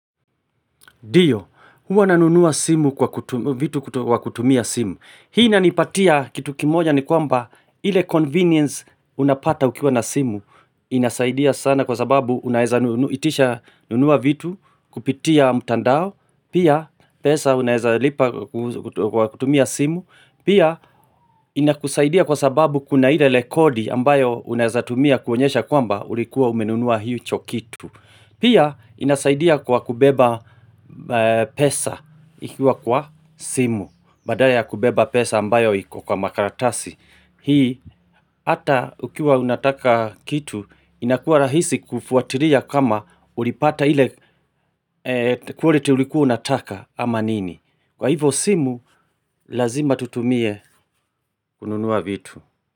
Dio, huwa nanunuwa simu kwa kut vitu kut wakutumia simu. Hii inanipatia kitu kimoja ni kwamba, ile convenience unapata ukiwa na simu. Inasaidia sana kwa sababu unaeza nunu itisha, nunua vitu, kupitia mutandao Pia, pesa unaeza lipa ku kut kwa kutumia simu Pia, inakusaidia kwa sababu kuna ile lekodi ambayo unaeza tumia kuonyesha kwamba ulikuwa umenunuwa hicho kitu. Pia, inasaidia kwa kubeba e pesa, ikiwa kwa simu, badaya ya kubeba pesa ambayo iko kwa makaratasi. Hii hata ukiwa unataka kitu, inakuwa rahisi kufuatiria kama ulipata ile e quality ulikuwa unataka ama nini. Kwa hivo simu Lazima tutumie kununuwa vitu.